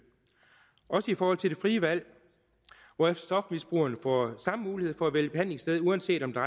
også i forhold til det frie valg hvor stofmisbrugerne får samme mulighed for at vælge behandlingssted uanset om det